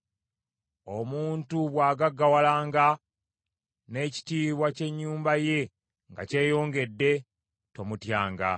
Omuntu bw’agaggawalanga n’ekitiibwa ky’ennyumba ye nga kyeyongedde, tomutyanga,